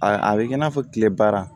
A a bɛ kɛ i n'a fɔ tile baara